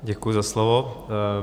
Děkuji za slovo.